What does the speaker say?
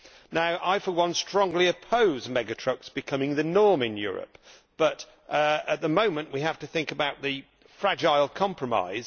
Now I for one strongly oppose mega trucks becoming the norm in Europe, but at the moment we have to think about the fragile compromise.